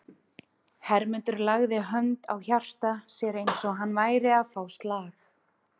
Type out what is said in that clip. Hermundur lagði hönd á hjarta sér eins og hann væri að fá slag.